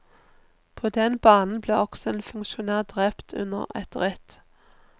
På den banen ble også en funksjonær drept under et ritt.